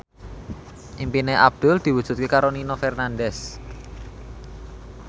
impine Abdul diwujudke karo Nino Fernandez